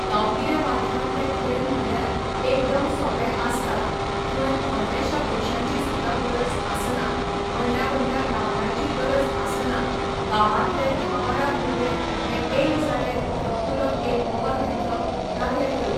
गांवगिऱ्या वाठारांतले खेळ म्हणल्यार एकदम सोंपें आसतात थंय व्हडलेश्या पयशांची सुद्दां गरज आसना व्हडल्या व्हडल्या ग्रांवडाची गरज आसना गांवांतले धा बारा भुरगे हे एक जाले धाकटुलो एक बॉल घेतलो, लागले खेळूंक.